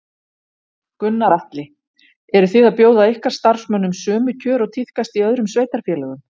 Gunnar Atli: Eru þið að bjóða ykkar starfsmönnum sömu kjör og tíðkast í öðrum sveitarfélögum?